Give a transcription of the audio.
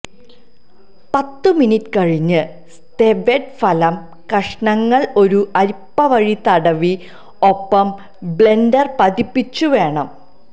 പത്ത് മിനിറ്റ് കഴിഞ്ഞ് സ്തെവെദ് ഫലം കഷണങ്ങൾ ഒരു അരിപ്പ വഴി തടവി ഒപ്പം ബ്ലെൻഡർ പതപ്പിച്ചു വേണം